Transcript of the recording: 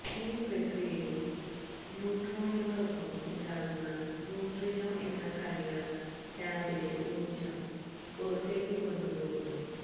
ഈ പ്രക്രിയയിൽ ന്യൂട്രോണിനോടൊപ്പം ഉണ്ടാകുന്ന ന്യൂട്രിനോ എന്ന കണിക കാമ്പിലെ ഊർജ്ജം പുറത്തേക്ക് കൊണ്ട് പോകുന്നു